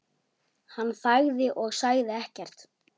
Hann þagði og sagði ekkert.